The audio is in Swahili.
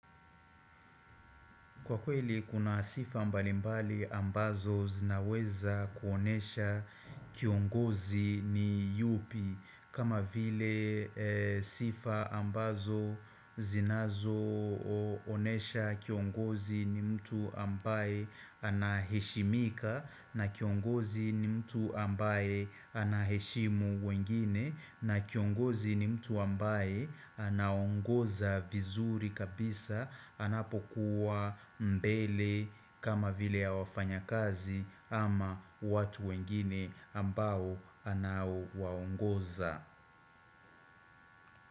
Kwa kweli kuna sifa mbali mbali ambazo zinaweza kuonesha kiongozi ni yupi kama vile sifa ambazo zinazo onesha kiongozi ni mtu ambaye anaheshimika na kiongozi ni mtu ambaye anaheshimu wengine na kiongozi ni mtu ambaye anaongoza vizuri kabisa anapokuwa mbele kama vile ya wafanyakazi ama watu wengine ambao anaowaongoza.